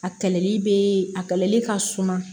A kɛlɛli be a kɛlɛli ka suma